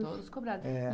Todos cobrados.